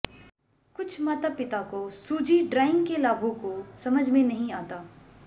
कुछ माता पिता को सूजी ड्राइंग के लाभों को समझ में नहीं आता